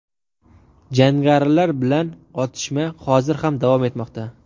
Jangarilar bilan otishma hozir ham davom etmoqda.